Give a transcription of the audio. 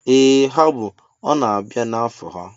Ee ha bụ, ọ na-abịa na afọ ha